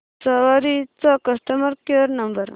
सवारी चा customer care number